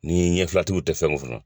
Ni ɲɛfɛtigiw tɛ fɛn min kɔnɔ